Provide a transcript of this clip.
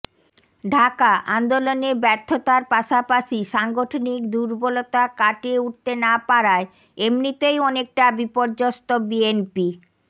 ঢাকাঃ আন্দোলনে ব্যর্থতার পাশাপাশি সাংগঠনিক দুর্বলতা কাটিয়ে উঠতে না পারায় এমনিতেই অনেকটা বিপর্যস্ত বিএনপি